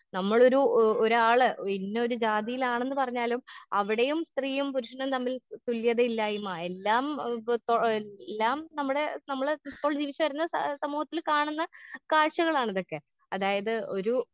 നമ്മളൊരു ഏ ഒരാള് ഇന്നൊരു ജാതിയിലാണെന്ന് പറഞ്ഞാലും അവിടെയും സ്ത്രീയും പുരുഷനും തമ്മിൽ തുല്യതയില്ലായ്മ എല്ലാം ഏ എല്ലാം നമ്മടെ നമ്മളെ ഇപ്പോൾ ജീവിച്ചു വരുന്ന ഏ സമൂഹത്തിൽ കാണുന്ന കാഴ്ചകളാണിതൊക്കെ അതായത് ഒരു.